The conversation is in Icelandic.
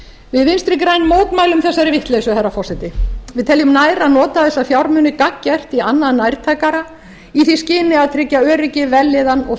við vinstri græn mótmælum þessari vitleysu herra forseti við teljum nær að nota þessa fjármuni gagngert í annað nærtækara í því skyni að tryggja öryggi vellíðan og